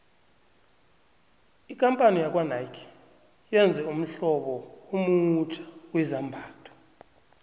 ikampani yakwanike yenze ummhlobo omutjha wezambhatho